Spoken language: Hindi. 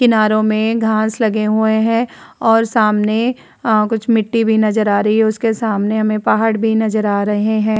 किनारों मे घास लगे हुए हैं और सामने कुछ मिटटी भी नजर आ रही है। उसके सामने हमें पहाड़ भी नजर आ रहे हैं।